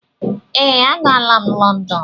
Ee, aga la'm London.